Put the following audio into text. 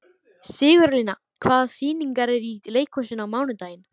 Sigurlína, hvaða sýningar eru í leikhúsinu á mánudaginn?